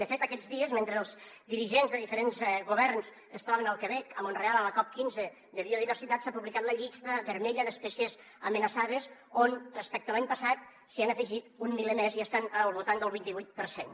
de fet aquests dies mentre els dirigents de diferents governs es troben al quebec a mont real a la cop15 de biodiversitat s’ha publicat la llista vermella d’espècies amenaçades on respecte a l’any passat se n’han afegit un miler més i estan al voltant del vint i vuit per cent